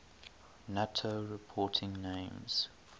nato reporting names